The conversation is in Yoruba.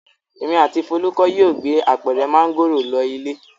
Èmi àti Folúkẹ́ yóò gbé apẹ̀rẹ̀ mángòrò lọ ilé.